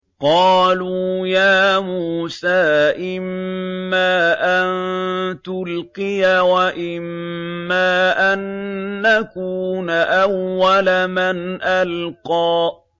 قَالُوا يَا مُوسَىٰ إِمَّا أَن تُلْقِيَ وَإِمَّا أَن نَّكُونَ أَوَّلَ مَنْ أَلْقَىٰ